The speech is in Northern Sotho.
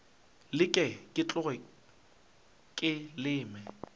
leke ke tloge ke leme